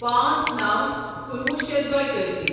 پانژھ نوَ کنُوہُ شیتھ دۄیِتأجی